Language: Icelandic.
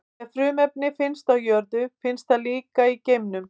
Ef frumefni finnst á jörðu, finnst það líka í geimnum.